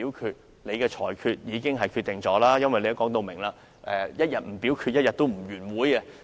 其實，你的裁決已經決定一切，因為你表明一天不表決，一天不會結束會議。